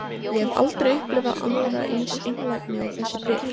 Ég hef aldrei upplifað aðra eins einlægni og þessi bréf.